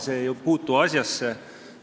See ei puutu asjasse.